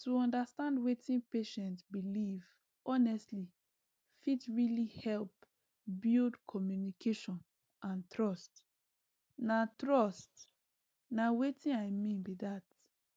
to understand wetin patient believe honestly fit really help build communication and trust na trust na watin i mean be that